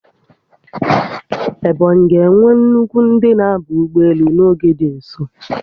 Ebonyi ga-enwe nnukwu ndị na-aba ụgbọelu n'oge dị nso